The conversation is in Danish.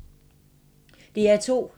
DR2